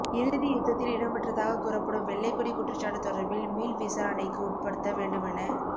இறுதி யுத்தத்தில் இடம்பெற்றதாக கூறப்படும் வெள்ளைக்கொடி குற்றச்சாட்டு தொடர்பில் மீள் விசாரணைக்கு உட்படுத்த வேண்டுமென